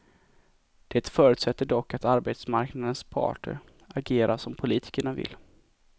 Det förutsätter dock att arbetsmarknadens parter agerar som politikerna vill.